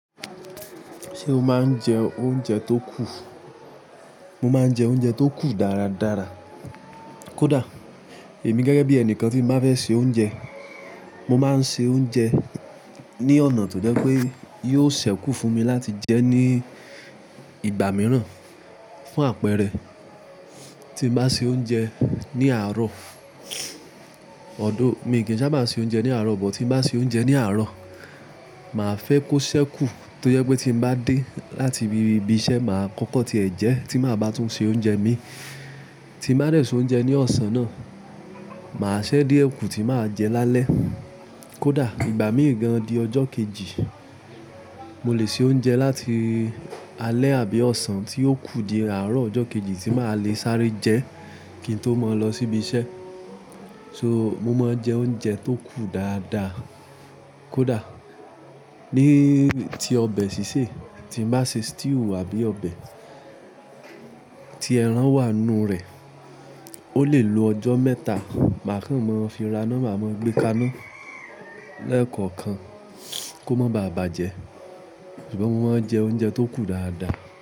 Ṣé o máa ń jẹ oúnjẹ tó kù? Mo máa ń jẹ oúnjẹ tó kù dára dára. Kódà, èmi gẹ́gẹ́ bí ẹnìkan, tí ń bá fẹ́ se oúnjẹ, mo máa ń se oúnjẹ ní ọ̀nà tó jẹ́ pé yóò ṣẹ́kù fún mi láti jẹ ní ìgbà mìíràn. Fún àpẹẹrẹ, tí ń bá ṣe oúnjẹ ní àárọ̀ although, mi ò kí ń sábà ṣe oúnjẹ ní àárọ̀, but tí ń bá ṣe oúnjẹ ní àárọ̀, màá fẹ́ kó ṣẹ́kù tó jẹ́ pé tí mo bá dé láti ibi iṣẹ́, màá kọ́kọ́ ti ẹ̀ jẹ́ tí màá ba tún ṣe oúnjẹ mi tí ń bá dè ṣe oúnjẹ ní ọ̀sán náà. Màá ṣẹ́ díẹ̀ kù tí màá jẹ lálẹ́. Kódà, ìgbà mìí gan di ọjọ́ kejì, mo lè ṣe oúnjẹ láti alẹ́ àbí ọ̀sán tí yóò kù di àárọ̀ ọjọ́ kejì tí màá lè sáré jẹ kí n tó mọ́ lọ sí ibi iṣẹ́. So, mo máa ń jẹ oúnjẹ tó kù dáadáa. Kódà, ní ti ọbẹ̀ sísè, tí ń bá ṣe stew àbí ọbẹ̀ tí ẹran wà nínú rẹ̀, ó lè lo ọjọ́ mẹ́ta. Màá kàn mọ́ fí raná, màá mọ́ gbé kaná lẹ́ẹ̀kọ̀kan kó mo baà bàjẹ́. Ṣùgbọ́n mo máa ń jẹ oúnjẹ tó kù dáadáa.